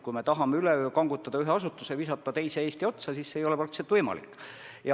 Kui me tahame üleöö ühe asutuse lahti kangutada ja visata teise Eesti otsa, siis see ei ole praktiliselt võimalik.